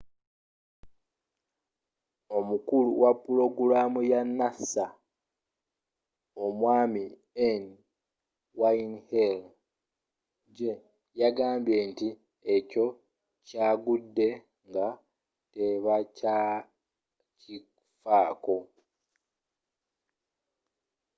omukulu wa pulogulamu ya nasa omwami n wayne hale jr yagambye nti ekyovu kyagudde nga tebakyakifako